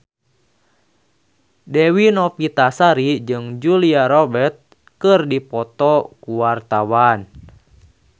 Dewi Novitasari jeung Julia Robert keur dipoto ku wartawan